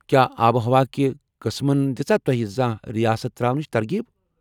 کیٛاہ آب و ہوا کہِ قٕسمن دِژاہ توہہِ زانہہ رِیاست تر٘اونٕچ ترغیب ؟